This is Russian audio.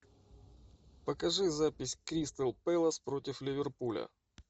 покажи запись кристал пэлас против ливерпуля